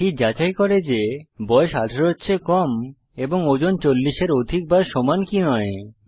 এটি যাচাই করে বয়স যে 18 এর চেয়ে কম এবং ওজন 40 এর অধিক বা সমান কি নয়